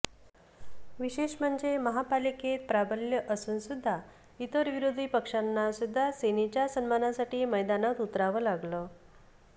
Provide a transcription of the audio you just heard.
विशेष म्हणजे महापालिकेत प्राबल्य असून सुद्धा इतर विरोधी पक्षांना सुद्धा सेनेच्या सन्मानासाठी मैदानात उतरावं लागलं